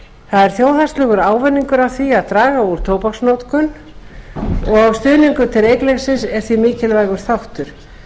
er þjóðhagslegur ávinningur af því að draga úr tóbaksnotkun og stuðningur til reykleysis er þar mikilvægur þáttur